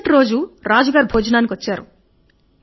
మరుసటి రోజు రాజుగారు భోజనానికి వచ్చారు